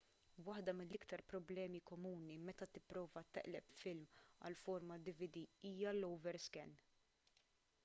waħda mill-iktar problemi komuni meta tipprova taqleb film għal format dvd hija l- overscan